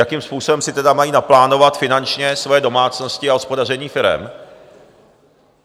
Jakým způsobem si tedy mají naplánovat finančně svoje domácnosti a hospodaření firem?